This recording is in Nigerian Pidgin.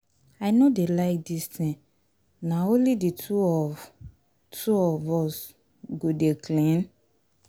I no dey like dis thing, na only the two of two of us go dey clean?